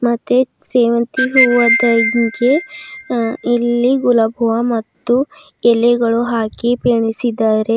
ಮತ್ತೆ ಸೇವಂತಿಗೆ ಅ ಇಲ್ಲಿ ಗುಲಾಬ್ ಹೂವ ಮತ್ತು ಎಲೆಗಳು ಹಾಕಿ ಪೆಣಿಸಿದಾರೆ.